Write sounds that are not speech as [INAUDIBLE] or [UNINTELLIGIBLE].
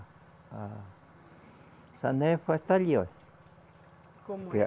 A sanefa está ali, olha. Como [UNINTELLIGIBLE]